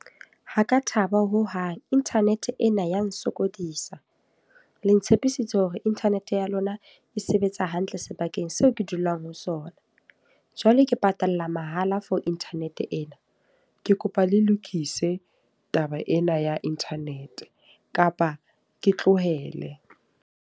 Ha ka thaba hohang, internet ena ya nsokodisa. Le ntshepisitse hore internet ya lona e sebetsa hantle sebakeng seo ke dulang ho sona. Jwale ke patalla mahala for internet ena. Ke kopa le lokise taba ena ya internet, kapa ke tlohele.